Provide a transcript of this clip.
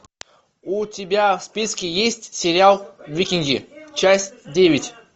у тебя в списке есть сериал викинги часть девять